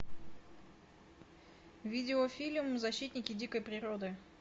видеофильм защитники дикой природы